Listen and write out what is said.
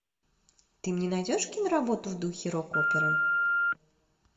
ты мне найдешь киноработу в духе рок оперы